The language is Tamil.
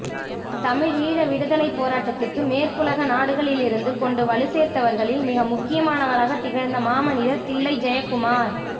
தமிழீழ விடுதலைப்போராட்டத்திற்கு மேற்குலக நாடுகளிலிருந்து கொண்டு வலுச்சேர்த்தவர்களில் மிக முக்கியமானவராக திகழ்ந்த மாமனிதர் தில்லை ஜெயக்குமார்